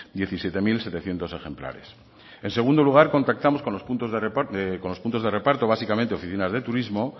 diecisiete mil setecientos ejemplares en segundo lugar contactamos con los puntos de reparto básicamente oficinas de turismo